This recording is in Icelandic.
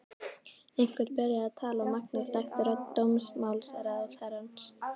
Einhver byrjaði að tala og Magnús þekkti rödd dómsmálaráðherrans.